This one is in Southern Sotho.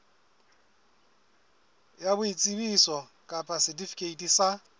ya boitsebiso kapa setifikeiti sa